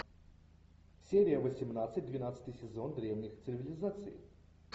серия восемнадцать двенадцатый сезон древних цивилизаций